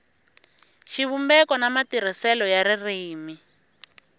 xivumbeko na matirhiselo ya ririmi